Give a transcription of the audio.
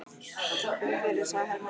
Þakka þér fyrir, sagði Hermann og brosti.